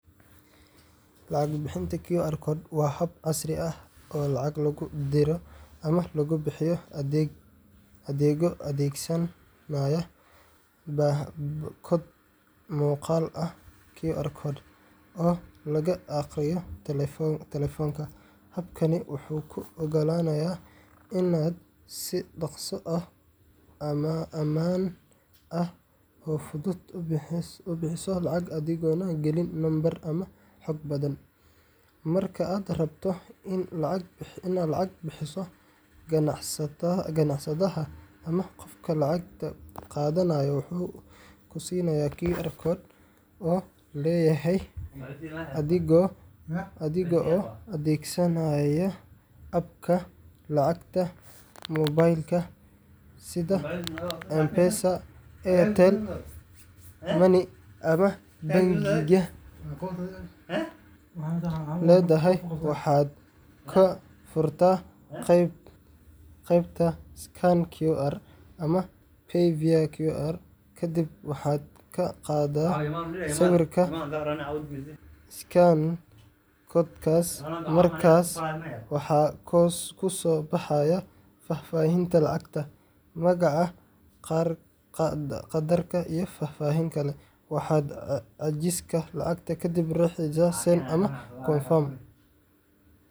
Lacag bixinta QR code waa hab casri ah oo lacag lagu diro ama lagu bixiyo adigoo adeegsanaya koodh muuqaal ah QR code oo laga akhriyo taleefanka. Habkani wuxuu kuu oggolaanayaa inaad si dhakhso ah, ammaan ah, oo fudud u bixiso lacag adigoon gelin nambaro ama xog badan. Marka aad rabto inaad lacag bixiso, ganacsadaha ama qofka lacagta qaadanaya wuxuu ku siinayaa QR code uu leeyahay. Adiga oo adeegsanaya app-ka lacagta moobaylka sida M-Pesa, Airtel Money, ama bangiga aad leedahay, waxaad ka furtaa qaybta Scan QR ama Pay via QR.Kadib waxaad ka qaadaa sawirka scan koodhkaas, markaas waxaa kusoo baxaya faahfaahinta lacagta magaca, qaddarka, iyo faahfaahin kale. Waxaad xaqiijisaa lacagta kadibna riixdaa Send ” ama Confirm.”